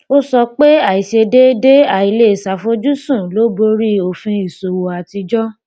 ó sọ pé àìṣedéédé àìlèṣeàfojúsùn ló borí òfin ìṣòwò àtijọ